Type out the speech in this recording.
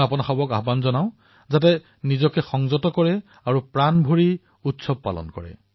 মই আপোনালোক সকলোকে আহ্বান জনাইছো যে নিজকে চম্ভালি উৎসাহেৰে উৎসৱ পালন কৰক